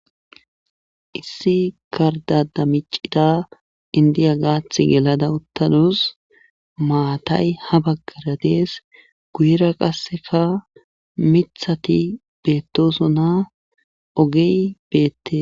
issi karda damicida indiya gaath gelada uttanus maatay ha baggara dees guyera qasseka mithati beettosona ogey beette